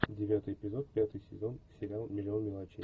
девятый эпизод пятый сезон сериал миллион мелочей